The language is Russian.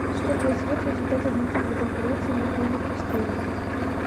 что произойдет в результате длительной конкуренции двух видов растений